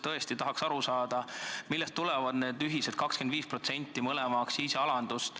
Tõesti tahaks aru saada, millest tuleneb see 25% ulatuses mõlema aktsiisi alandamine.